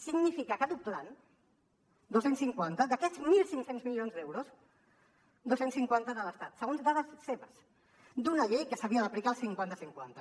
significa que doblant dos cents i cinquanta d’aquests mil cinc cents milions d’euros dos cents i cinquanta de l’estat segons dades seves d’una llei que s’havia d’aplicar el cinquanta cinquanta